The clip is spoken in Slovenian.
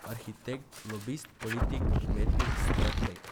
Arhitekt, lobist, politik, umetnik, strateg.